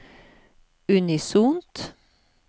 unisont